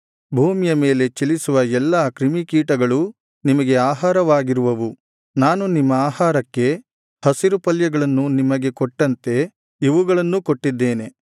ಭೂಮಿಯ ಮೇಲೆ ಚಲಿಸುವ ಎಲ್ಲಾ ಕ್ರಿಮಿಕೀಟಗಳೂ ನಿಮಗೆ ಆಹಾರವಾಗಿರುವವು ನಾನು ನಿಮ್ಮ ಆಹಾರಕ್ಕೆ ಹಸಿರುಪಲ್ಯಗಳನ್ನು ನಿಮಗೆ ಕೊಟ್ಟಂತೆ ಇವುಗಳನ್ನೂ ಕೊಟ್ಟಿದ್ದೇನೆ